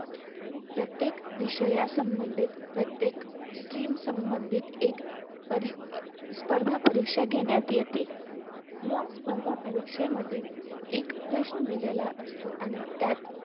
प्रत्येक विषया संबधीत प्रत्येक stream संबधीत एक परी अं स्पर्धापरीक्षा घेण्यात येते या स्पर्धापरीक्षेमध्ये एक प्रश्न दिलेला असतो आणि त्यात